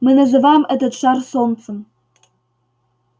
мы называем этот шар солнцем